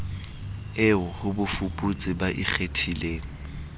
eo ho bafuputsi ba ikgethileng